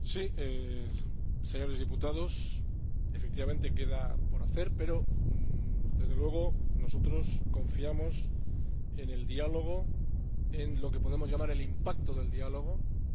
Señores diputados, efectivamente, queda por hacer, pero, desde luego, nosotros confiamos en el diálogo, en lo que podemos llamar el impacto del diálogo, en sus efectos.